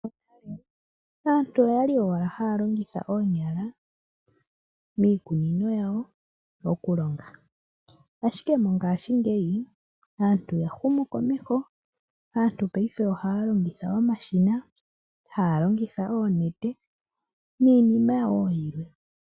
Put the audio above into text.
Aantu okwa li haya longitha owala oonyala miikununo yawo okulonga, ashike mongashingeyi aantu oya huma komeho, aantu paife ohaya longitha omashina, haya longitha oonete niinima wo yilwe.